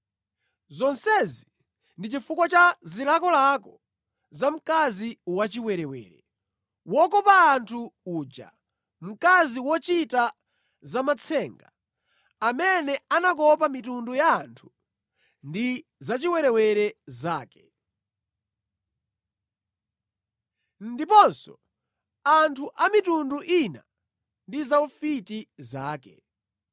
Zonsezi ndi chifukwa cha zilakolako za mkazi wachiwerewere, wokopa anthu uja, mkazi wochita zamatsenga, amene anakopa mitundu ya anthu ndi zachiwerewere zake, ndiponso anthu a mitundu ina ndi zaufiti zake.